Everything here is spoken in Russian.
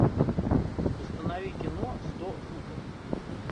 установи кино сто футов